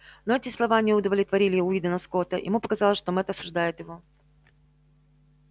но эти слова не удовлетворили уидона скотта ему показалось что мэтт осуждает его